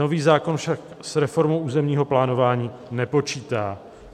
Nový zákon však s reformou územního plánování nepočítá.